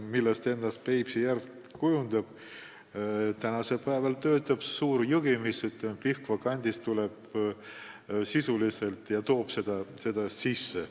Sinna voolab suur jõgi, mis tuleb Pihkva kandist ja toob seda kõike sisse.